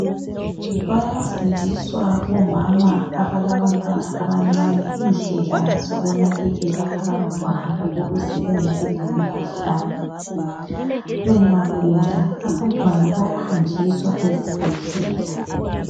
Bayafundiswa omama abalabantwana abancane indlela zokunakekela abantwana ukuze bengabi lemkhuhlane. Bengagula abantwana bayahanjiswa ezibhedlela.